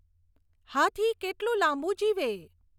હાથી કેટલું લાંબુ જીવે